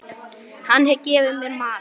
Hann gefur mér mat.